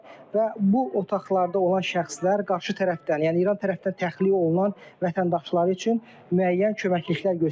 Və bu otaqlarda olan şəxslər qarşı tərəfdən, yəni İran tərəfdən təxliyə olunan vətəndaşları üçün müəyyən köməklik göstərilir.